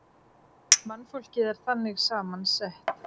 Mannfólkið er þannig saman sett.